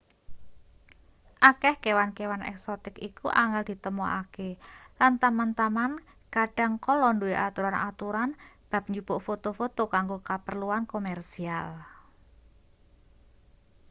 akeh kewan-kewan eksotik iku angel ditemokake lan taman-taman kadhang kala duwe aturan-aturan bab njupuk foto-foto kanggo kaperluan komersial